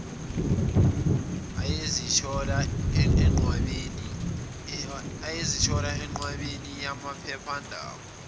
ayezithola enqwabeni yamaphephandaba